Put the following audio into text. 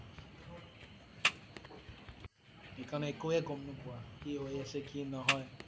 সেইকাৰণে একোৱে গম নোপোৱা । কি হৈ আছে কি নহয়।